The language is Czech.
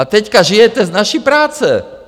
A teď žijete z naší práce.